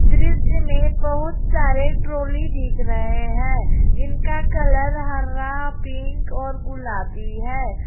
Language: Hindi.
दृश्य में बहुत सारे ट्रॉली दिख रहे हैं जिनका कलर हरा पिंक और गुलाबी है।